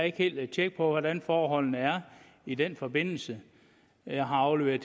ikke helt tjek på hvordan forholdene er i den forbindelse jeg har afleveret